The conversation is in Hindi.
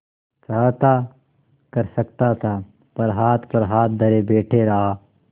चाहता कर सकता था पर हाथ पर हाथ धरे बैठे रहा